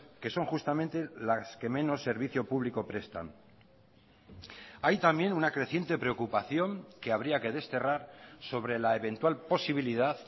que son justamente las que menos servicio público prestan hay también una creciente preocupación que habría que desterrar sobre la eventual posibilidad